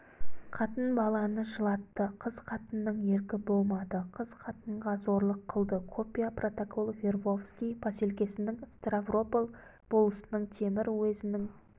қатын-баланы жылатты қыз-қатынның еркі болмады қыз-қатынға зорлық қылды копия протокол вербовский поселкесінің ставрополь болысының темір уезінің